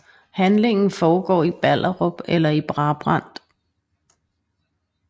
Handlingen foregår i Ballerup eller Brabrand